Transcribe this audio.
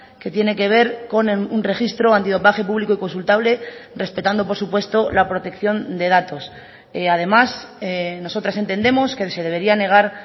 que tiene que ver con un registro antidopaje público y consultable respetando por supuesto la protección de datos además nosotras entendemos que se debería negar